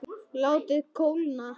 Látið kólna.